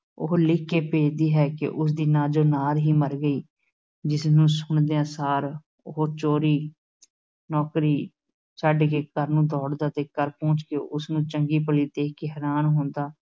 ਉਹ ਲਿਖ ਕੇ ਭੇਜਦੀ ਹੈ ਕਿ ਉਸ ਦੀ ਨਾਜੋ ਨਾਰ ਹੀ ਮਰ ਗਈ, ਜਿਸਨੂੰ ਸੁਣਦਿਆਂ ਸਾਰ ਉਹ ਚੋਰੀ ਨੌਕਰੀ ਛੱਡ ਕੇ ਘਰ ਨੂੰ ਦੌੜਦਾ ਤੇ ਘਰ ਪਹੁੰਚ ਕੇ ਉਸ ਨੂੰ ਚੰਗੀ-ਭਲੀ ਦੇਖ ਕੇ ਹੈਰਾਨ ਹੁੰਦਾ,